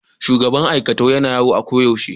shugaban aikatau Yana yawo a koyaushe.